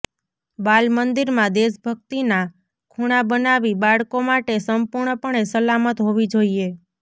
બાલમંદિરમાં દેશભક્તિના ખૂણા બનાવી બાળકો માટે સંપૂર્ણપણે સલામત હોવી જોઈએ